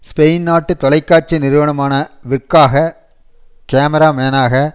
Spain நாட்டு தொலைக்காட்சி நிறுவனமான விற்காக கேமிரா மேனாக